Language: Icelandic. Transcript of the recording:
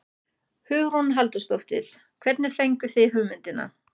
Hugrún Halldórsdóttir: Hvernig fenguð þið hugmyndina?